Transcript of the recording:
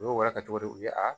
U y'o wara kɛ cogo di u ye a